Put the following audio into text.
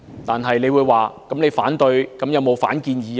然而，你會問，我反對之餘，有否反建議？